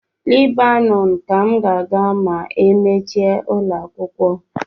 Lebanon ka m ga-aga ma emechie ụlọakwụkwọ